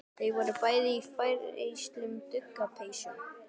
Þau voru bæði í færeyskum duggarapeysum.